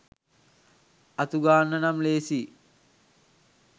අතුගාන්න නම් ලේසියි